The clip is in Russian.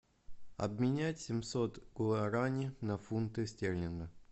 обменять семьсот гуарани на фунты стерлинга